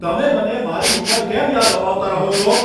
તમે મને મારી ઉંમર કેમ યાદ અપાવતા રહો છો?